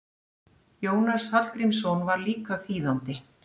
Jónas Hallgrímsson var líka þýðandi.